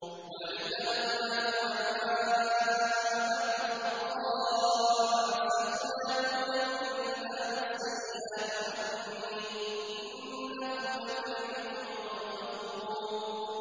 وَلَئِنْ أَذَقْنَاهُ نَعْمَاءَ بَعْدَ ضَرَّاءَ مَسَّتْهُ لَيَقُولَنَّ ذَهَبَ السَّيِّئَاتُ عَنِّي ۚ إِنَّهُ لَفَرِحٌ فَخُورٌ